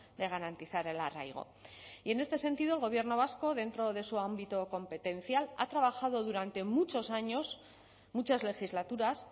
de garantizar el arraigo y en este sentido el gobierno vasco dentro de su ámbito competencial ha trabajado durante muchos años muchas legislaturas